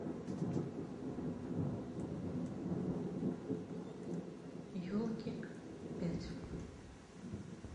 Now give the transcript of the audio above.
елки пять